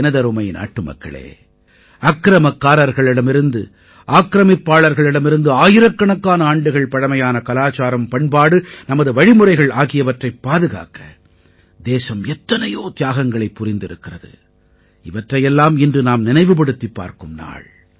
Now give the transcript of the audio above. எனதருமை நாட்டுமக்களே அக்கிரமக்காரர்களிடமிருந்து ஆக்ரமிப்பாளர்களிடமிருந்து ஆயிரக்கணக்கான ஆண்டுகள் பழமையான கலாச்சாரம் பண்பாடு நமது வழிமுறைகள் ஆகியவற்றைப் பாதுகாக்க தேசம் எத்தனையோ தியாகங்களைப் புரிந்திருக்கிறது இவற்றையெல்லாம் இன்று நாம் நினைவுபடுத்திப் பார்க்கும் நாள்